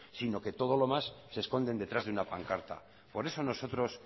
sino que todo lo más se esconden detrás de una pancarta por eso nosotros